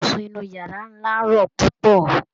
Ibùsùn inu yàrá ńlá rọ púpọ